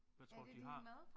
Hvad tror du de har?